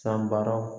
Sanbaraw